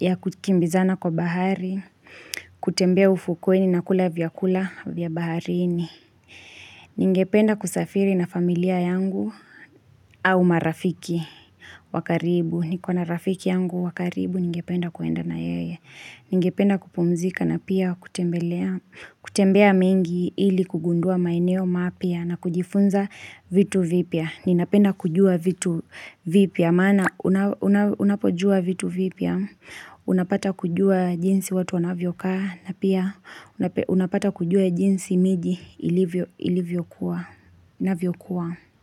ya kukimbizana kwa bahari, kutembea ufukweni na kula vyakula vya baharini. Ningependa kusafiri na familia yangu au marafiki wakaribu Nikona rafiki yangu wakaribu Ningependa kwenda na yeye Ningependa kupumzika na pia kutembelea kutembea mengi ili kugundua maeneo mapya na kujifunza vitu vipya Ninapenda kujua vitu vipya maana unapojua vitu vipya Unapata kujua jinsi watu wanavyo kaa na pia unapata kujua jinsi miji ilivyo kuwa inavyokuwa.